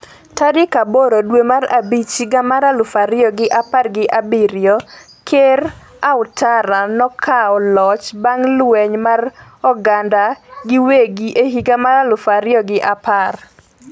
tarik aboro dwe mar abich higa mar aluf ariyo gi apar gi abiriyo Ker Ouattara nokawo loch bang' lweny mar oganda giwegi e higa mar aluf ariyo gi apar